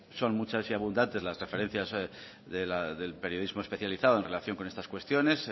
son muchas y abundantes las referencias del periodismo especializado en relación con estas cuestiones